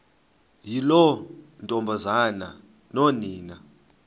yiloo ntombazana nonina